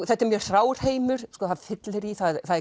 þetta er mjög hrár heimur það er fyllerí það er